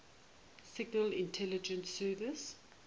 signal intelligence service